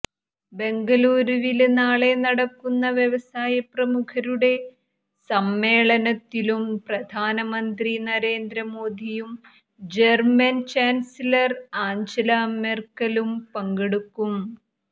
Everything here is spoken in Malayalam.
ബെംഗലുരിവില് നാളെ നടക്കുന്ന വ്യവസായപ്രമുഖരുടെ സമ്മേളനത്തിലും പ്രധാനമന്ത്രി നരേന്ദ്രമോദിയും ജര്മന് ചാന്സലര് ആഞ്ചല മെര്ക്കലും പങ്കെടുക്കും